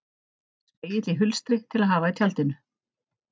Spegill í hulstri til að hafa í tjaldinu.